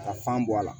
Ka fan bɔ a la